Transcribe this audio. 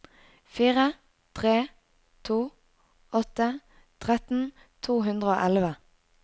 fire tre to åtte tretten to hundre og elleve